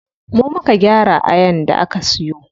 Mu muka gyara ayan da aka siyo.